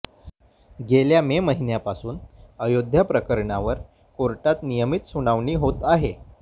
गेल्या मे महिन्यापासून अयोध्या प्रकरणावर कोर्टात नियमित सुनावणी होत आहे